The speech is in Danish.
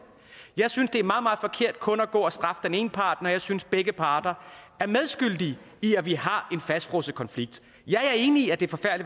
jeg synes det er meget meget forkert kun at gå og straffe den ene part når jeg synes at begge parter er medskyldige i at vi har en fastfrosset konflikt jeg er enig i at det